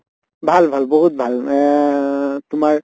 ভাল ভাল বিহুত ভাল এহ তোমাৰ